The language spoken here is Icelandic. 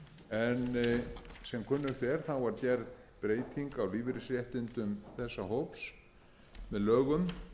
en sem kunnugt er þá var gerð breyting á lífeyrisréttindum þessa hóps með lögum